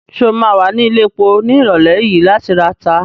Ṣé o ma wà ní ilẹ̀epo ní ìrọ̀lẹ́ yìí láti rata?